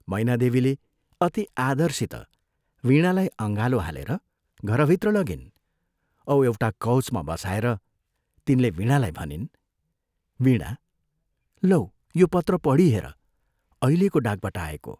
मैनादेवीले अति आदरसित वीणालाई अँगालो हालेर घरभित्र लगिन् औ एउटा कौचमा बसाएर तिनले वीणालाई भनिन्, "वीणा, लौ यो पत्र पढी हेर अहिलेको डाकबाट आएको।